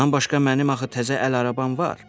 Bundan başqa mənim axı təzə əl arabam var.